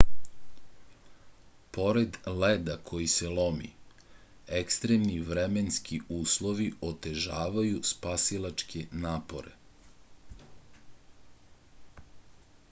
pored leda koji se lomi ekstremni vremenski uslovi otežavaju spasilačke napore